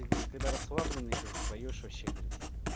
ты говорит когда расслабленные говорит поёшь вообще говорит